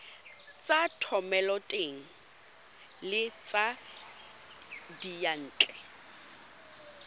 tsa thomeloteng le tsa diyantle